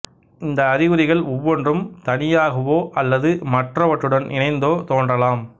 இந்த அறிகுறிகள் ஒவ்வொன்றும் தனியாகவோ அல்லது மற்றவற்றுடன் இணைந்தோ தோன்றலாம்